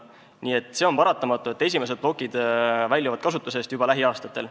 Nii et on paratamatu, et esimesed plokid väljuvad kasutusest juba lähiaastatel.